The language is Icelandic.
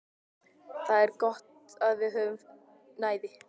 Það er gott að við höfum næði.